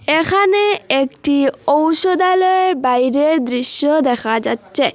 এখানে একটি ঔষধালয়ের বাইরের দৃশ্য দেখা যাচ্ছে।